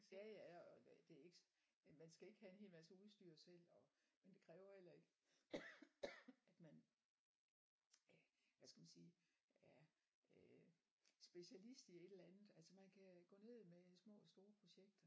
Ja ja og det er ikke øh man skal ikke have en hel masse udstyr selv og men det kræver heller ikke at man øh hvad skal man sige er øh specialist i et eller andet altså man kan gå ned med små og store projekter